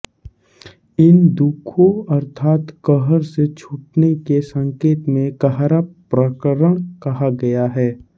इन दुःखों अर्थात कहर से छूटने के संकेत में कहरा प्रकरण कहा गया है